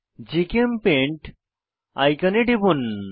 GChemPaint আইকনে টিপুন